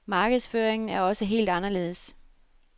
Markedsføringen er også helt anderledes.